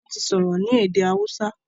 wón ti sọrọ ní èdè hausa.